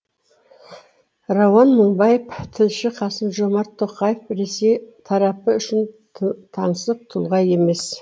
рауан мыңбаев тілші қасым жомарт тоқаев ресей тарапы үшін таңсық тұлға емес